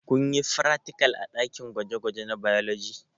Kunyi fratikal a ɗakin gwaje gwaje na bailoji?